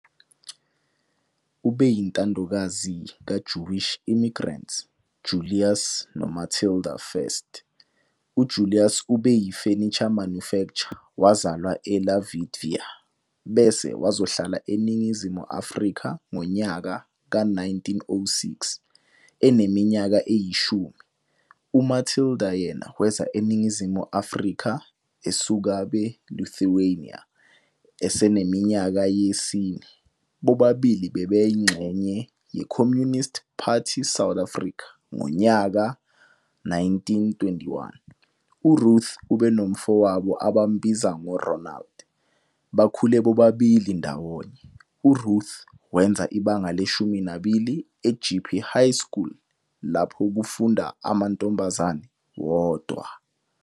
Ubeyindodakazi ka Jewwish Immigrants Julius no Matilda First.uJulius ubeyi furniture manufacture wazalwa eLavitvia bese wazohlala eNingizimu Afrika ngonyaka ka1906 eneminyaka eyishumi umatilda yena weza eNingizimu Afrika esukabeLithuania eseneminyaka yesine.bobabili bebayingxenye yeCommunist Party South Africa ngonyaa 1921.uRuth ubenomfowabo abambiza ngoronald.bakhule bobabili ndawonye.uRuth wenza ibanga leshumi nabili eJeppe high School lapho kufunda amantombazane wondwa.